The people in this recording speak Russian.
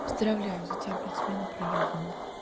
поздравляю за тебя блять смена проёбана